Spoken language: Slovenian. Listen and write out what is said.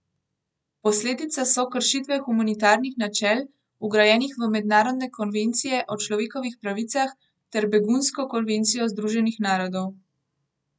Posledica so kršitve humanitarnih načel, vgrajenih v mednarodne konvencije o človekovih pravicah ter begunsko konvencijo Združenih narodov.